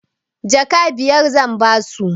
Jaka biyar zan ba su.